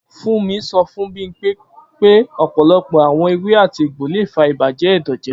Fumi sọ fun Bimpe pe ọpọlọpọ awọn ewé àti egbo le fa ibajẹ ẹdọ jẹ.